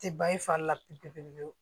Tɛ ban i fari la pewu pewu pewu